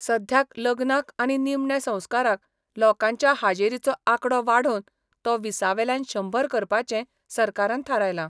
सध्याक लग्नाक आनी निमणें संस्काराक लोकांच्या हाजेरीचो आंकडो वाढोवन तो वीसावेल्यान शंबर करपाचें सरकारान थारायला.